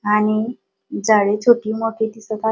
आणि जाळी छोटी मोठी दिसत आ--